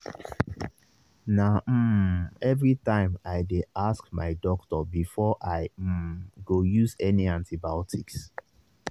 na um everytime i dey ask my doctor before i um go use any antibiotics